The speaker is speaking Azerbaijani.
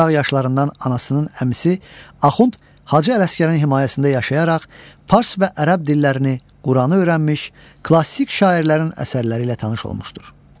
Uşaq yaşlarından anasının əmisi Axund Hacı Ələsgərin himayəsində yaşayaraq fars və ərəb dillərini, Quranı öyrənmiş, klassik şairlərin əsərləri ilə tanış olmuşdur.